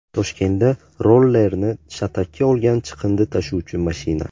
Toshkentda rollerni shatakka olgan chiqindi tashuvchi mashina.